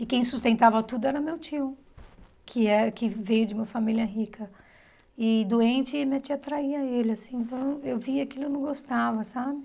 E quem sustentava tudo era meu tio, que é que veio de uma família rica e doente, e minha tia traía ele, assim, então eu via aquilo eu não gostava, sabe?